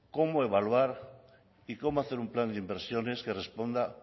cómo evaluar y cómo hacer un plan de inversiones que responda